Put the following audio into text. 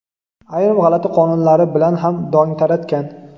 ayrim g‘alati qonunlari bilan ham dong taratgan.